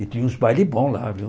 E tinha uns bailes bons lá, viu?